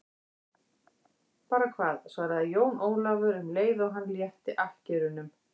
Bara hvað, svaraði Jón Ólafur um leið og hann létti akkerunum.